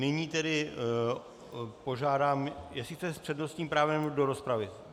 Nyní tedy požádám, jestli chcete s přednostním právem do rozpravy.